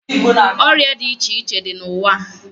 Oria di iche iche di na uwaa